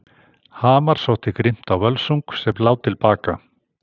Hamar sótti grimmt á völsung sem lá til baka.